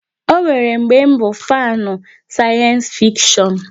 Ọ nwere mgbe bụ fanu sayensi fikshon